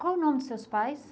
Qual é o nome dos seus pais?